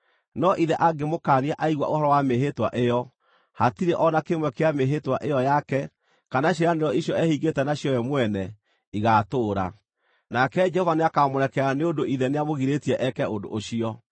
No ithe angĩmũkaania aigua ũhoro wa mĩĩhĩtwa ĩyo, hatirĩ o na kĩmwe kĩa mĩĩhĩtwa ĩyo yake, kana ciĩranĩro icio ehingĩte nacio we mwene, igatũũra; nake Jehova nĩakamũrekera nĩ ũndũ ithe nĩamũgirĩtie eke ũndũ ũcio.